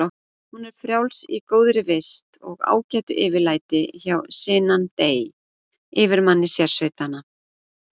Hún er frjáls í góðri vist og ágætu yfirlæti hjá Sinan dey, yfirmanni sérsveitanna.